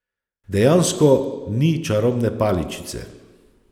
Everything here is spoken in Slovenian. Dejansko ni čarobne paličice.